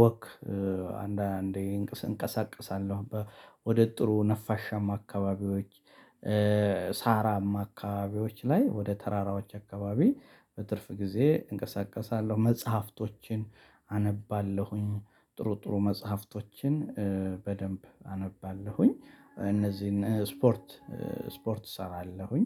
ወክ አንዳንዴ እንቀሳቀሳለሁ፣ ወደ ጥሩ ነፋሻም አካባቢዎች ሳራም አካባቢዎች ላይ፣ ወደ ተራራዎች አካባቢ በትርፍ ጊዜ እንቀሳቀሳለሁ። መጽሐፍቶችን አነባለሁኝ፤ ጥሩ ጥሩ መጽሐፍቶችን በደንብ አነባለሁኝ፤ እነዚህን ስፖርት ስፖርት እሰራለሁኝ።